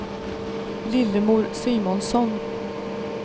Lillemor Simonsson